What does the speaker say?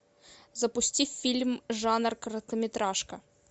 запусти фильм жанр короткометражка